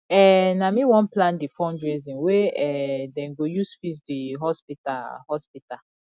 um na me wan plan di fundraising wey um dem go use fix di hospital hospital